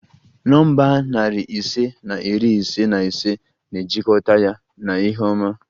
Nọmba narị ise na iri ise na ise na-ejikọta ya na ihe ọma